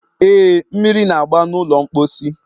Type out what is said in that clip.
e, mmiri na-agba n'ụlọ mkposi.